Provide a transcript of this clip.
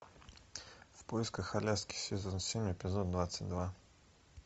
в поисках аляски сезон семь эпизод двадцать два